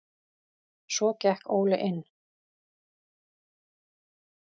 Svo gekk Óli inn.